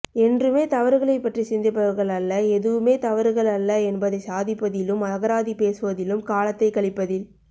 என்றுமே தவறுகளை பற்றி சிந்திப்பவர்கள் அல்ல எதுவுமே தவறுகள் அல்ல என்பதை சாதிப்பதிலும் அகராதி பேசுவதிலும் காலத்தை கழிப்பதில்